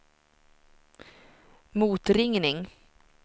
motringning